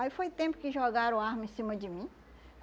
Aí foi tempo que jogaram arma em cima de mim.